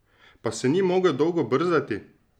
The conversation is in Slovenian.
Pa se ni mogel dolgo brzdati!